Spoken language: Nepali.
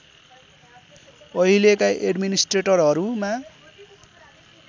अहिलेका एड्मिनिस्ट्रेट‍रहरूमा